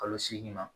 Kalo seegin ma